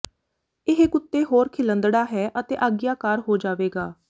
ਇਹ ਕੁੱਤੇ ਹੋਰ ਖਿਲੰਦੜਾ ਹੈ ਅਤੇ ਆਗਿਆਕਾਰ ਹੋ ਜਾਵੇਗਾ